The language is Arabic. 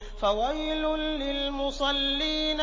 فَوَيْلٌ لِّلْمُصَلِّينَ